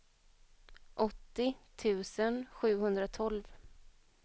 åttio tusen sjuhundratolv